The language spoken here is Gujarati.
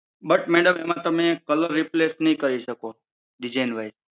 but madam એમાં તમે colour replace નહીં કરી શકો. design wise